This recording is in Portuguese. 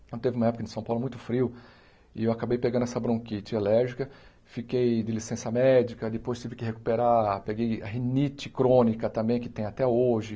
Então, teve uma época em São Paulo muito frio e eu acabei pegando essa bronquite alérgica, fiquei de licença médica, depois tive que recuperar, peguei rinite crônica também, que tem até hoje.